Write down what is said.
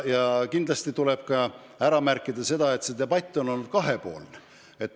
Ja kindlasti tuleb märkida seda, et see debatt on olnud kahetine.